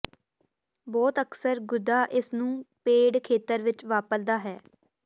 ਬਹੁਤ ਅਕਸਰ ਗੁੱਦਾ ਇਸ ਨੂੰ ਪੇਡ ਖੇਤਰ ਵਿੱਚ ਵਾਪਰਦਾ ਹੈ